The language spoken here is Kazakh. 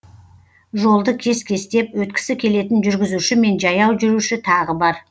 жолды кес кестеп өткісі келетін жүргізуші мен жаяу жүруші тағы бар